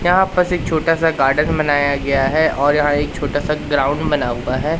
यहाँ पस एक छोटा सा गार्डन बनाया गया है और यहां एक छोटा सा ग्राउंड बना हुआ है।